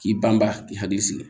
K'i banban k'i hakili sigi